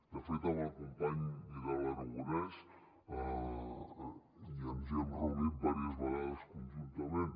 de fet amb el company vidal aragonés ens hi hem reunit diverses vegades conjuntament